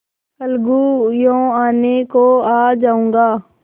अलगूयों आने को आ जाऊँगा